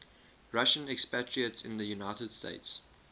russian expatriates in the united states